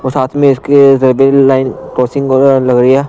और साथ में इसके वेबल लाइन क्रॉसिंग लग रही है।